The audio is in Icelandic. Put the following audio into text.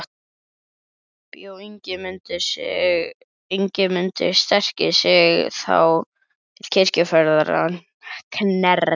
Bjó Ingimundur sterki sig þá til kirkjuferðar að Knerri.